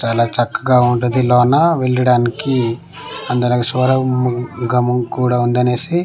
చాలా చక్కగా ఉండది లోన వెళ్లడానికి గమం కూడా ఉందనేసి.